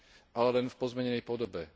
ale len v pozmenenej podobe.